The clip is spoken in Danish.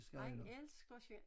Han elsker selv